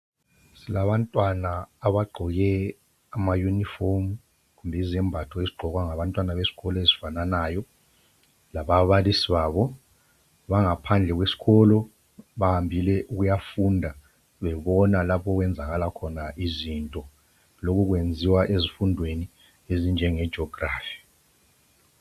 Silabantwana abagqoke amayunifomu kumbe izembatho ezigqokwa ngabantwana besikolo ezifananayo lababalisi babo. Bangaphandle kwesikolo bahambile ukuyafunda bebona lapho okuyenzakala izinto okhu akwenziwa kuzifundo ezinjengejogirafu